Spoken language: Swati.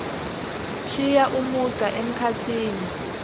shiya umugca emkhatsini